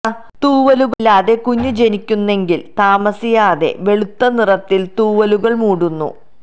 തൂവലുകൾ ഇല്ലാതെ കുഞ്ഞ് ജനിക്കുന്നെങ്കിലും താമസിയാതെ വെളുത്ത നിറത്തിൽ തൂവലുകൾ മൂടുന്നു